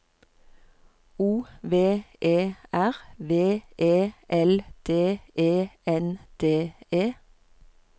O V E R V E L D E N D E